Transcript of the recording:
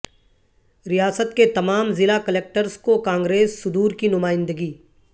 ریاست کے تمام ضلع کلکٹرس کو کانگریس صدورکی نمائندگی